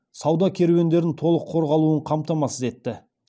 сауда керуендерінің толық қорғалуын қамтамасыз етті